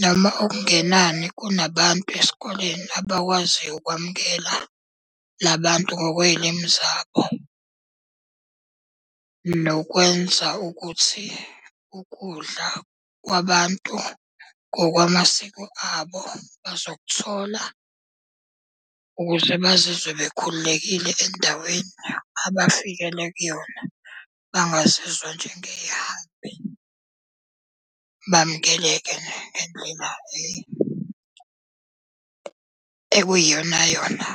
Noma okungenani kunabantu esikoleni abakwaziyo ukwamukela la bantu ngokwey'limu zabo. Nokwenza ukuthi ukudla kwabantu ngokwamasiko abo bazokuthola ukuze bazizwe bekhululekile endaweni abafikele kuyona, bangazizwa njengey'hambi. Bamukeleke ekuyiyona yona.